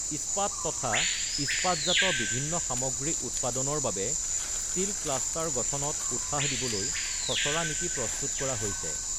ইস্পাৎ তথা ইস্পাৎজাত বিভিন্ন সামগ্ৰী উৎপাদনৰ বাবে ষ্টীল ক্লাষ্টাৰ গঠনত উৎসাহ দিবলৈ খচৰা নীতি প্ৰস্তুত কৰা হৈছে।